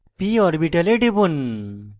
p orbital টিপুন